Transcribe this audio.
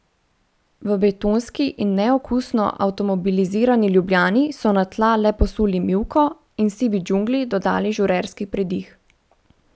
V betonski in neokusno avtomobilizirani Ljubljani so na tla le posuli mivko in sivi džungli dodali žurerski pridih.